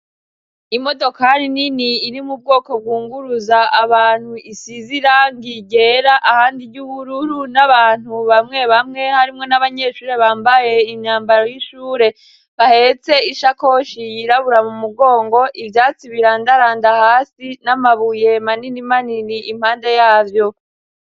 Imodokari nini iri mu bwoko bwunguruza abantu isize irangi ryera ahandi ry'ubururu n'abantu bamwe bamwe harimwo n'abanyeshure bambaye imyambaro y'ishure bahetse ishakoshi yirabura mu mugongo, ivyatsi birandaranda hasi n'amabuye manini manini impande yavyo.